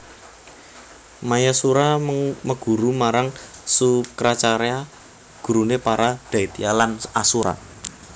Mayasura meguru marang Sukracarya guruné para daitya lan asura